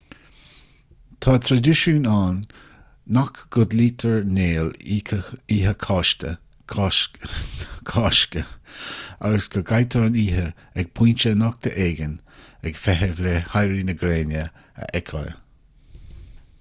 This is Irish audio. tá traidisiún ann nach gcodlaítear néal oíche chásca agus go gcaitear an oíche ag pointe nochta éigin ag feitheamh le héirí na gréine a fheiceáil